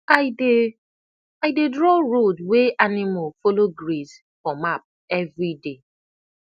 i dey i dey draw road wey animal follow graze for map every day